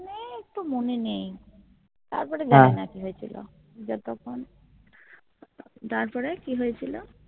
একটু মনে নেই তারপরে জানি না কি হয়েছিল যতক্ষণ তারপরে কি হয়েছিল